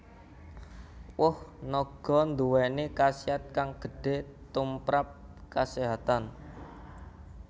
Woh naga nduwèni khasiat kang gedhe tumprap kaséhatan